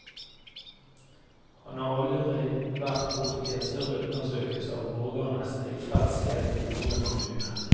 Han har aldri vært borti en større undersøkelse av borgernes tilfredshet i noen kommune.